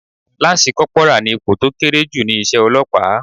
Láńsí kọporà ni ipò tó kéré jù ni iṣẹ́ Ọlọ́pàá.